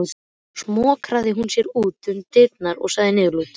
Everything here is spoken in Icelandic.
Svo smokraði hún sér út um dyrnar og sagði niðurlút